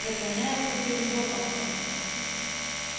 преклоняется перед локонсом